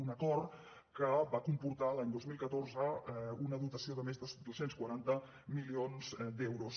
un acord que va comportar l’any dos mil catorze una dotació de més de dos cents i quaranta milions d’euros